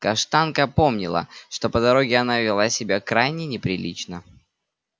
каштанка помнила что по дороге она вела себя крайне неприлично